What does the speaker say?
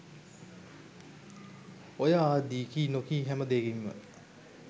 ඔය ආදී කී නොකී හැම දේකින්ම